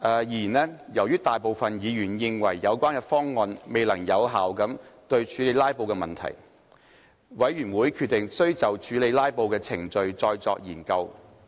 然而，由於大部分議員認為有關方案未能有效處理"拉布"問題。委員會決定需就處理"拉布"的程序再作研究。